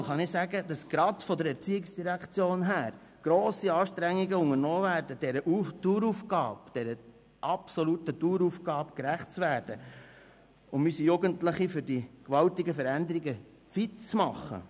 Als Mitglied der BiK kann ich sagen, dass gerade die ERZ grosse Anstrengungen unternimmt, um der absoluten Daueraufgabe gerecht zu werden, unsere Jugendlichen für diese gewaltige Veränderung fit zu machen.